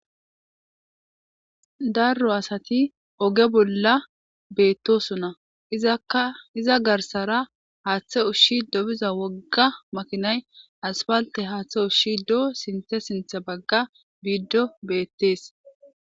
Darro asati oge bolla beettosona iza garsara haaththe ushshi dobiza wogga makinay aspalte haaththe ushshi do7o sinthe sintha bagga biiddo beettees.